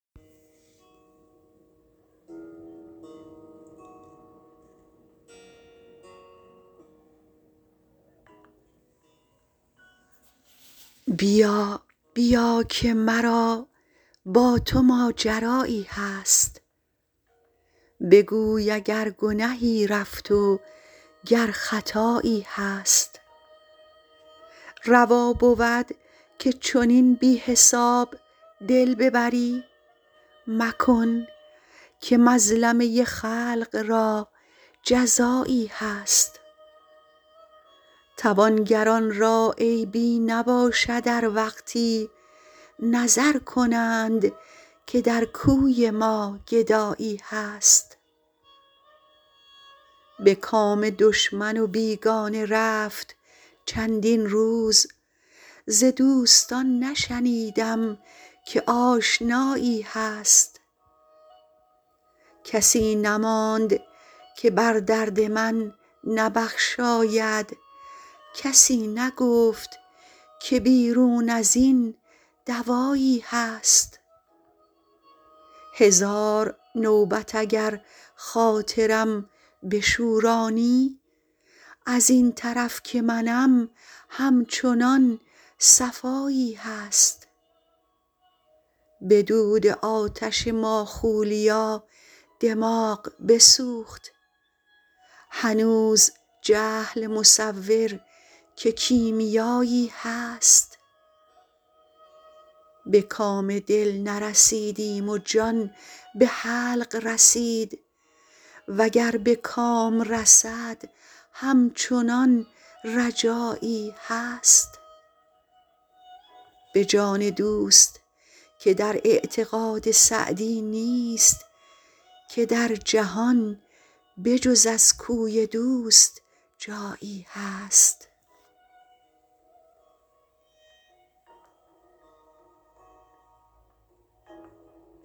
بیا بیا که مرا با تو ماجرایی هست بگوی اگر گنهی رفت و گر خطایی هست روا بود که چنین بی حساب دل ببری مکن که مظلمه خلق را جزایی هست توانگران را عیبی نباشد ار وقتی نظر کنند که در کوی ما گدایی هست به کام دشمن و بیگانه رفت چندین روز ز دوستان نشنیدم که آشنایی هست کسی نماند که بر درد من نبخشاید کسی نگفت که بیرون از این دوایی هست هزار نوبت اگر خاطرم بشورانی از این طرف که منم همچنان صفایی هست به دود آتش ماخولیا دماغ بسوخت هنوز جهل مصور که کیمیایی هست به کام دل نرسیدیم و جان به حلق رسید و گر به کام رسد همچنان رجایی هست به جان دوست که در اعتقاد سعدی نیست که در جهان به جز از کوی دوست جایی هست